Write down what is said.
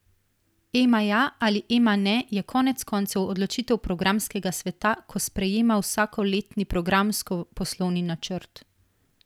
Ema ja ali Ema ne je konec koncev odločitev programskega sveta, ko sprejema vsakoletni Programsko poslovni načrt.